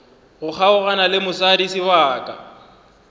go kgaogana le mosadi sebaka